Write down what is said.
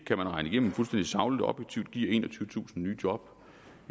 kan man regne igennem fuldstændig sagligt og objektivt giver enogtyvetusind nye job